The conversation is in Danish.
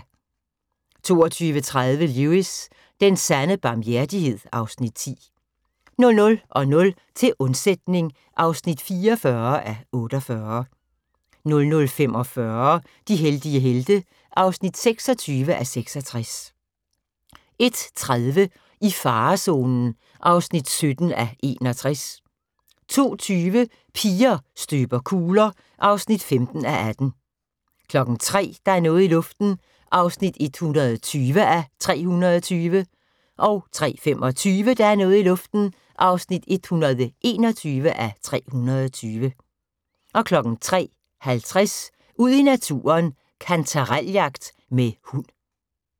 22:30: Lewis: Den sande barmhjertighed (Afs. 10) 00:00: Til undsætning (44:48) 00:45: De heldige helte (26:66) 01:30: I farezonen (17:61) 02:20: Piger støber kugler (15:18) 03:00: Der er noget i luften (120:320) 03:25: Der er noget i luften (121:320) 03:50: Ud i naturen: Kantarel-jagt med hund